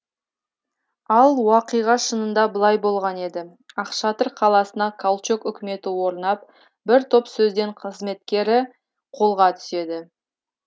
ал уақиға шынында былай болған еді ақшатыр қаласына калчок үкіметі орнап бір топ сөзден қызметкері қолға түседі